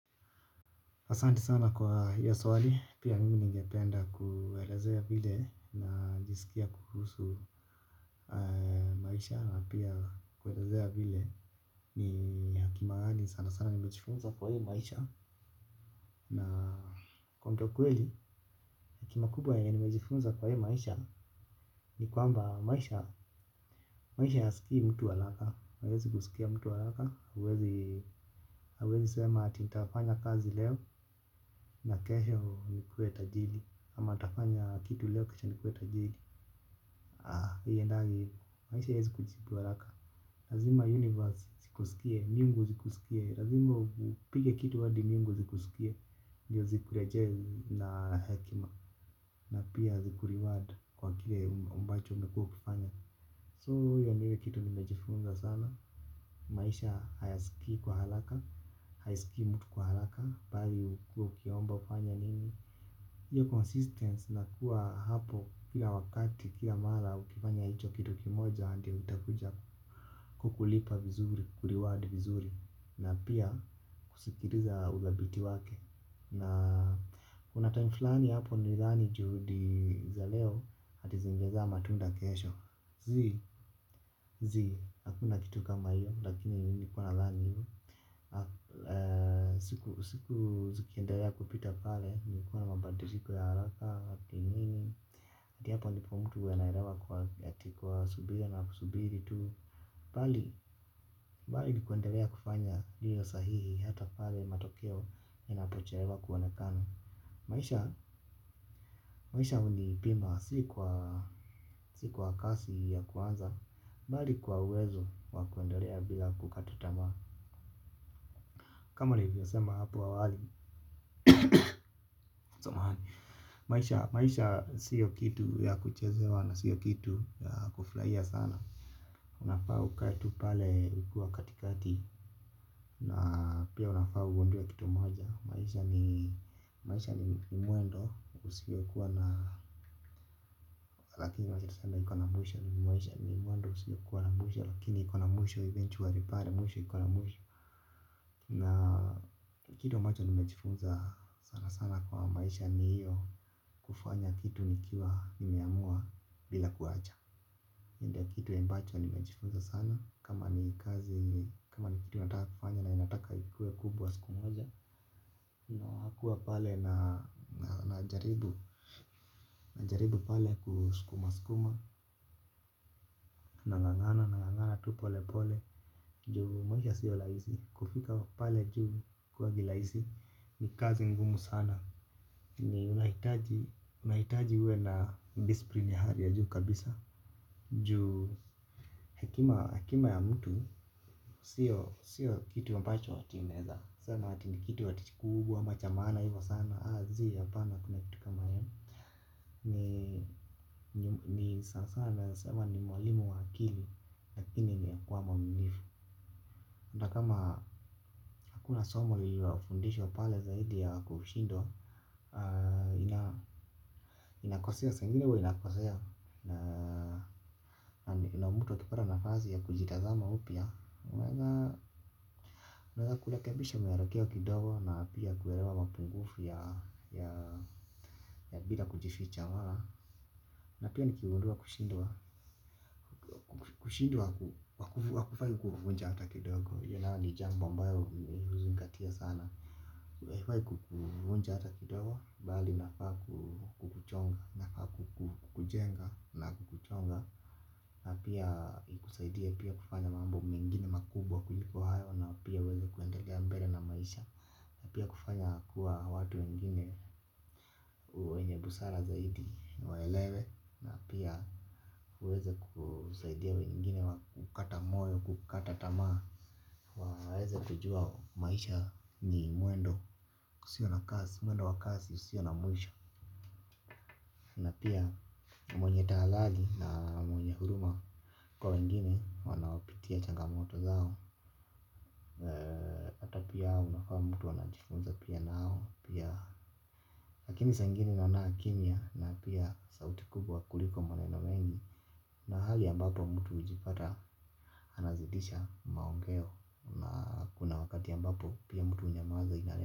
Asanti sana kwa hiyo swali, pia mimi ningependa kuelezea vile ninajisikie kuhusu maisha na pia kuelezea vile ni haki mahali sana sana nimejifunza kwa hiyo maisha na kwa kuongea ukweli, hekima kubwa ya nimejifunza kwa hii maisha ni kwamba maisha, maisha hayaskii mtu haraka, hayawezi kusikia mtu haraka, hauwezi sema ati nitafanya kazi leo na kesho nikuwe tajiri ama nitatafanya kitu leo kesho nikue tajiri haiendagi ivo maisha haiezi kujibu haraka lazima universe zikusikie mbingu zikusikie lazima upige kitu hadi mbingu zikusikie ndio zikurejee na hekima na pia ziku reward kwa kile ambacho umekua ukifanya so hio ndio ile kitu nimejifunza sana. Maisha hayasikii kwa haraka. Hayasikii mtu kwa haraka. Bali ukue ukiomba ufanye nini. Iyo consistency na kuwa hapo kila wakati kila mara ukifanya hicho kitu kimoja ndio itakuja kukulipa vizuri kureward vizuri na pia kusikiliza uthabiti wake. Na kuna time fulani hapo nilidhani juhudi za leo ati zingezaa matunda kesho zii zii hakuna kitu kama hiyo lakini nilikuwa nadhani hivyo. Siku zikiendelea kupita pale nilikua na mabandiliko ya haraka. Ati nini. Ati hapo ndipo mtu anaelewa kwa ati kwa subira na kusubiri tu. Bali ni kuendelea kufanya lililo sahihi hata pale matokeo inapochelewa kuonekana maisha. Maisha hunipima si kwa kasi ya kuanza bali kwa uwezo wa kuendelea bila kukata tamaa. Kama nilivyosema hapo awali. Maisha sio kitu ya kuchezewa na sio kitu ya kufurahia sana unafaa ukae pale ukiwa katikati. Na pia unafaa ugundue kitu moja maisha ni mwendo usiokua na lakini wacha tuseme ikona mwisho ju maisha ni mwendo usiokua na mwisho lakini ikona mwisho ju eventually pale mwisho ikona mwisho na kitu ambacho nimejifunza sana sana kwa maisha ni hio. Kufanya kitu nikiwa nimeamua bila kuwacha ndio kitu ya ambacho nimejifunza sana. Kama ni kazi kama ni kitu nataka kufanya na ninataka ikue kubwa siku moja. Nakuwa pale na najaribu najaribu pale kusukuma sukuma. Nangangana nangangana tu pole pole. Juu maisha sio rahisi. Kufika pale juu haikuangi rahisi. Ni kazi ngumu sana ni unahitaji unahitaji uwe na discipline ya hali ya juu kabisa juu. Hekima ya mtu sio kitu wa ambacho ati unaezasema ati ni kitu ati kubwa ama cha maana hivyo sana aah zi hapana hakuna kitu kama hio. Ni sana sana naeza sema ni mwalimu wa akili. Lakini ni kuwa mwaminifu. Na kama hakuna somo lililofundishwa pale zaidi ya kushindwa. Inakosea saa ingine huwa inakosea. Na mtu akipata nafasi ya kujitazama upya unaeza kurekebisha mwelekeo kidogo na pia kuelewa mapungufu ya ya bila kujificha unaona na pia nikigundua kushindwa, kushindwa hakufai kukuvunja hata kidogo hio ni jambo ambao uzingaite sana haifai kukubuna hata kidogo, bali inafaa kukuchonga, inafaa kukujenga na kukuchonga na pia kukusaidia pia kufanya mambo mengine makubwa kuliko hayo na pia uweze kuendelea mbele na maisha na pia kufanya kuwa watu wengine wenye busara zaidi waelewe na pia uweze kusaidia wengine wa kukata moyo, kukata tamaa waweze kujua maisha ni mwendo, usio na kasi, mwendo wa kasi, usio na mwisho. Na pia mwenye tahathati na mwenye huruma kwa wengine wanaopitia changamoto zao hata pia unafaa mtu anajifunza pia nao pia. Lakini saa ingine naona kimya na pia sauti kubwa kuliko maneno mengi. Na hali ambapo mtu hujipata anazidisha maongeo na kuna wakati ambapo pia mtu hunyamaza inalema.